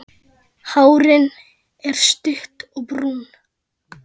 Hárin er stutt og brún.